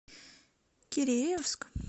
киреевск